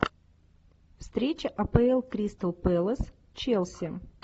встреча апл кристал пэлас челси